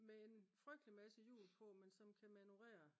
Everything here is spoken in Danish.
med en frygtelig masse hjul på men som kan manøvrere